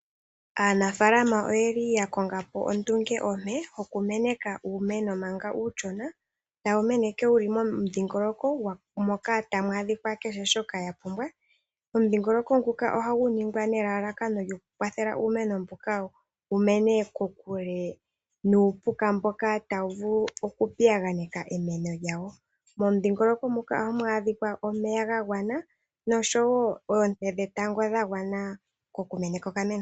Aanafaalama oya konga po ondunge ompe yokumeneka uumeno manga uushona, tawu mene wu li momudhingoloko moka tamu adhika kehe shoka wa pumbwa. Omudhingoloko nguka ohagu ningwa nelalakano lyokukwathela uumeno mbuka wu mene kokule nuupuka mboka tawu vulu okupiyaganeka emeno lyawo. Momudhingoloko muka ohamu adhika omeya ga gwana nosho wo oonte dhetango dha gwana okumeneka okameno.